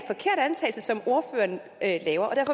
at